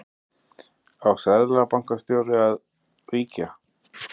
Á seðlabankastjóri þá að víkja?